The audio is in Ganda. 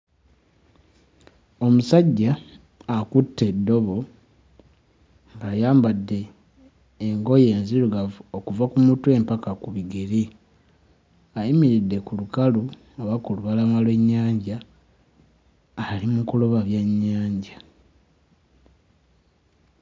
Omusajja akutte eddobo ng'ayambadde engoye enzirugavu okuva ku mutwe mpaka ku bigere, ayimiridde ku lukalu oba ku lubalama lw'ennyanja ali mu kuloba byennyanja.